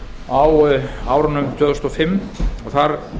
á árunum tvö þúsund og fimm og þar